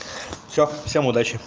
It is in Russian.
всё всем удачи